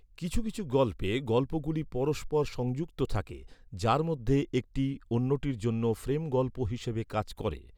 কিছু কিছু গল্পে, গল্পগুলি পরস্পর সংযুক্ত থাকে, যার মধ্যে একটি অন্যটির জন্য ফ্রেম গল্প হিসাবে কাজ করে।